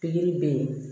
Pikiri bɛ ye